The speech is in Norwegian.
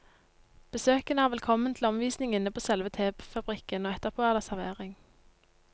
Besøkende er velkommen til omvisning inne på selve tefabrikken, og etterpå er det servering.